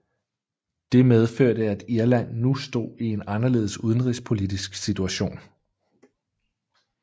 Det medførte at Irland nu stod i en anderledes udenrigspolitisk situation